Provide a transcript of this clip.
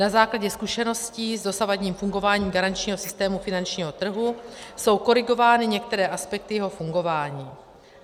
Na základě zkušeností s dosavadním fungováním garančního systému finančního trhu jsou korigovány některé aspekty jeho fungování.